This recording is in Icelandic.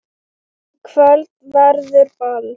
Í kvöld verður ball.